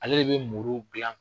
Ale de bɛ muru gilan.